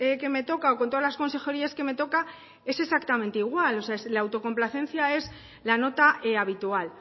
que me toca o con todas las consejerías que me toca es exactamente igual o sea la autocomplacencia es la nota habitual